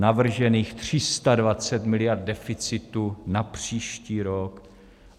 Navržených 320 miliard deficitu na příští rok.